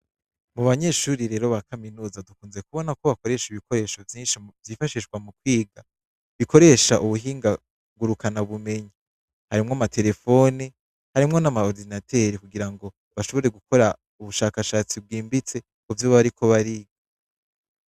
Mu banyeshuri rero ba kaminuza, dukunze kubona ko bakoresha ibikoresho vyinshi vyifashishwa mu kwiga. Bikoresha mu buhinga ngurukanabumenyi. Harimwo ama terefone, harimwo n'ama orodinateri kugira ngo bashobore gukora ubushakashatsi bwimbitse, mu vyo bariko bariga.